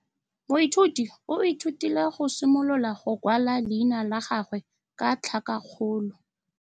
Moithuti o ithutile go simolola go kwala leina la gagwe ka tlhakakgolo.